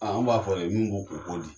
Aa an b'a fɔ le min b'o kun u ko di.